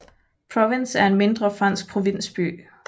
Provins er en mindre fransk provinsby